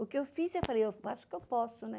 O que eu fiz, eu falei, eu faço o que eu posso, né?